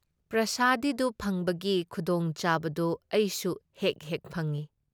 ꯄ꯭ꯔꯁꯥꯗꯤꯗꯨ ꯐꯪꯕꯒꯤ ꯈꯨꯗꯣꯡꯆꯥꯕꯗꯨ ꯑꯩꯁꯨ ꯍꯦꯛ ꯍꯦꯛ ꯐꯪꯏ ꯫